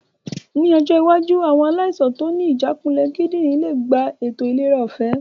Ní ọjọ́ iwájú. àwọn aláìsàn tó ní ìjákulẹ̀ kídìnrín lè gba ètò ìlera ọ̀fẹ́